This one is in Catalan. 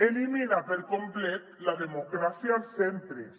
elimina per complet la de·mocràcia als centres